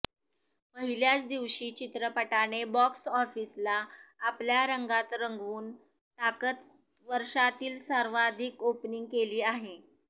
पहिल्याच दिवशी चित्रपटाने बॉक्स ऑफिसला आपल्या रंगात रंगवून टाकत वर्षातील सर्वाधिक ओपनिंग केली आहे